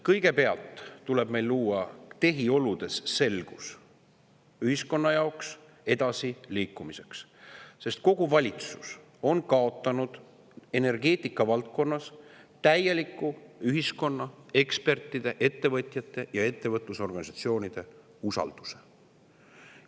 Kõigepealt tuleb meil luua tehioludes selgus ühiskonna jaoks edasiliikumiseks, sest kogu valitsus on täielikult kaotanud energeetika valdkonnas ühiskonna, ekspertide, ettevõtjate ja ettevõtlusorganisatsioonide usalduse.